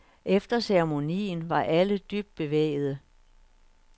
Efter ceremonien var alle dybt bevægede.